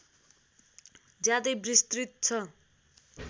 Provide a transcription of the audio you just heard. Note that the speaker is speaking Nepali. ज्यादै विस्तृत छ